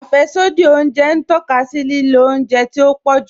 Afẹ́ṣodì ọ̀unjẹ n tọka sí lílò ọ̀unjẹ tí o pọ̀ jù.